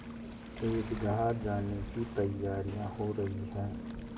ईदगाह जाने की तैयारियाँ हो रही हैं